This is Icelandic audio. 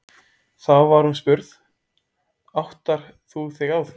Þá var hún spurð: Áttar þú þig á því?